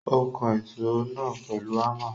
Ó kan èsó náà pèlu Hámà.